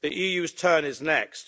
The EU's turn is next.